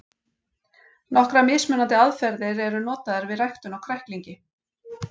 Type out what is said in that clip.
Nokkrar mismunandi aðferðir eru notaðar við ræktun á kræklingi.